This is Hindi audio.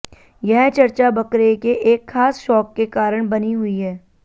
यह चर्चा बकरे के एक खास शौक के कारण बनी हुई है